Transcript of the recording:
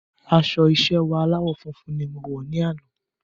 Aṣọ iṣẹ́ wa aláwọ̀ funfun ní mọ wọ̀ ní àna